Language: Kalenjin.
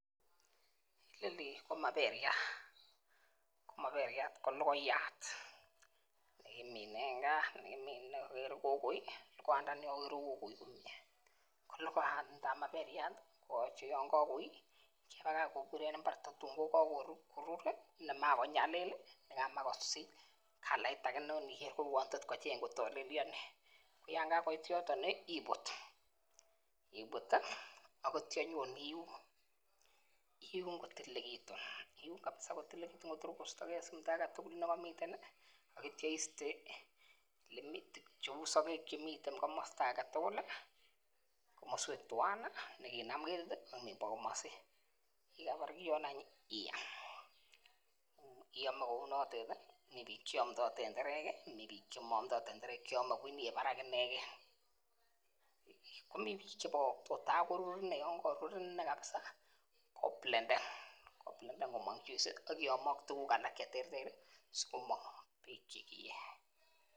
Nini ko maberyat ko maberyat ko lokoiyat nekimine en gaa nekimine okere kokoi Ko lokoiyat tab maberyat koyoche yon kokoi kebakach kobur en imbar tatun ko kokorur nemakonyalil nrkamavh kosich kalait aka ne inikere ko uwon tot kocheng kotolelionit, koyon kakoit yoton nii ibut ak ityo inyon iun, iun kotililekitun, iun kabisa kotililekitun Kotor kostogee simto agetutuk nekomiten nii ak ityo iste lemitik cheu sokek chemiten komosto agetutuk, komoswek twan nii nekinam ketit ak nimbo komosin, yekakobar kiyoni any iam ,iome kounotet tii mii bik cheomdo tenderek kii mii chemo omdo tenderek chrome Kibo barak ineken komii bik chekobokokto takorur inee yekorur inee kabisa koplenden komok juice ak kiyomo ak tukul alak cheterteri sikomong tukuk chekeyee.